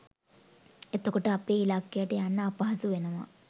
එතකොට අපේ ඉල්ලකයට යන්න අපහසු වෙනවා